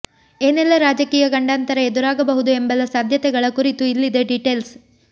ಏನೆಲ್ಲಾ ರಾಜಕೀಯ ಗಂಡಾಂತರ ಎದುರಾಗಬಹುದು ಎಂಬೆಲ್ಲಾ ಸಾಧ್ಯತೆಗಳ ಕುರಿತು ಇಲ್ಲಿದೆ ಡಿಟೇಲ್ಸ್